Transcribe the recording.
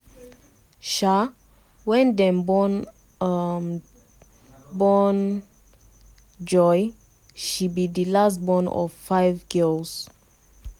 um wen dem um born um born joy she be di last born of five girls.